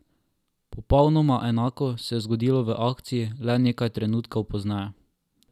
Popolnoma enako se je zgodilo v akciji le nekaj trenutkov pozneje.